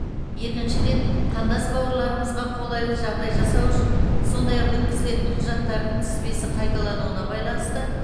екіншіден қандас бауырларымызға қолайлы жағдай жасау үшін сондай ақ өткізілетін құжаттардың тізбесі қайталануына байланысты